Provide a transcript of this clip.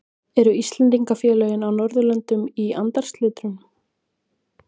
Eru Íslendingafélögin á Norðurlöndunum í andarslitrunum?